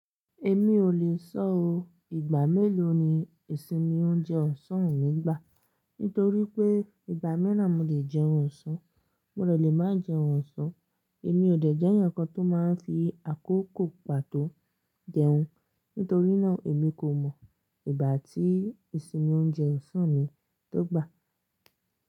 Èmi ò lè sọ o. Ìgbà mélòó ni ìsinmi ń jẹ ọ̀sán mi gbà? Nítorí pé ìgbà mìíràn mo lè jẹun ọ̀sán, mò dè lè máa jẹun ọ̀sán. Èmi ò dè jẹ́ nǹkan tó máa ń fi àkókò pàtó jẹun. Nítorínà, èmi kò mọ̀ ìgbà tí ìsinmi ń jẹ ọ̀sán mi tó gbà.